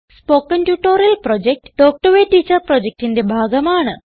spoken tutorial project talk to a teacher പ്രൊജക്റ്റിന്റെ ഭാഗമാണ്